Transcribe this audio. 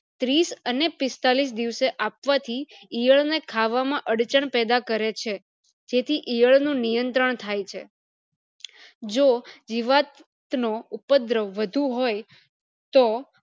ત્રીસ અને પિસ્તાલીસ દિવસે આપવાથી ઈયળ ને ખાવામાં અડચણ પેદા કરે છે જેથી ઈયળ નું નિયંત્રણ થાય છે જો જીવતનો ઉપદ્રવ વધુ હોય તો